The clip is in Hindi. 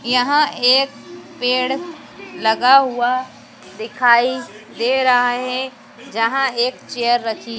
यहां एक पेड़ लगा हुआ दिखाई दे रहा है जहां एक चेयर रखी--